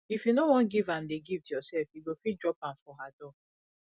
if you no wan give am the gift yourself you go fit drop am for her door